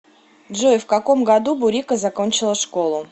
джой в каком году бурико закончила школу